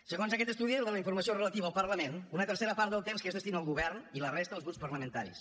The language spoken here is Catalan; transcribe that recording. segons aquest estudi de la informació relativa al parlament una tercera part del temps es destina al govern i la resta als grups parlamentaris